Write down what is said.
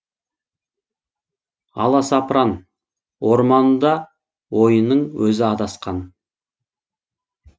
аласапран орманында ойының өзі адасқан